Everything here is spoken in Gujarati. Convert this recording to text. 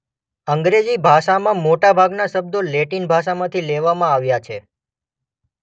અંગ્રેજી ભાષામાં મોટા ભાગના શબ્દો લેટિન ભાષામાંથી લેવામાં આવ્યા છે.